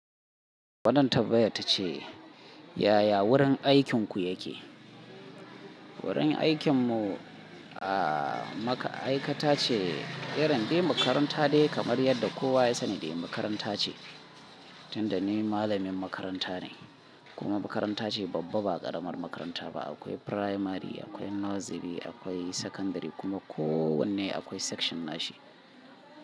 Wadanne tabba'a ta ce yaya wurin aikinku yake? Wurin aikinmu a maka'aikata ce irin dai makaranta ne kamar yadda kowa ya sani dai makaranta ce tunda ni malamin makaranta ne kuma makaranta ce babba ba ƙaramar makaranta ba akwai firamare akwai nursery akwai sakandare kuma kowanne akwai section nashi.